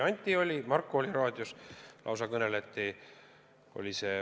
Anti oli kohal, Marko samuti.